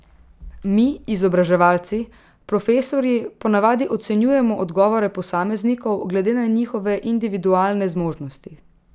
Mi, izobraževalci, profesorji ponavadi ocenjujemo odgovore posameznikov glede na njihove individualne zmožnosti.